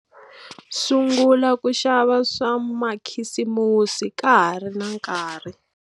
Sungula ku xava swa makhisimusi ka ha ri na nkarhi.